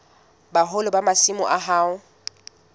boholo ba masimo a hao